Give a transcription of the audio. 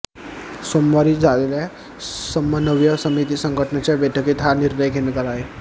सोमवारी झालेल्या समन्वय समिती संघटनांच्या बैठकीत हा निर्णय घेण्यात आला आहे